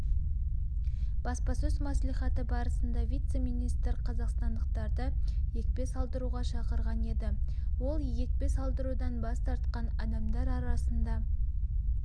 баспасөз мәслихаты барысында вице-министр қазақстандықтарды екпе салдыруға шақырған еді ол екпе салдырудан бас тартқан адамдар арасында